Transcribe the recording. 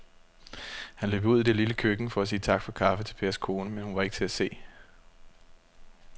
Han løb ud i det lille køkken for at sige tak for kaffe til Pers kone, men hun var ikke til at se.